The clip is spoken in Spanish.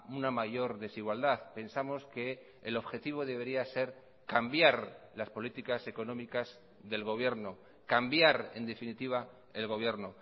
una mayor desigualdad pensamos que el objetivo debería ser cambiar las políticas económicas del gobierno cambiar en definitiva el gobierno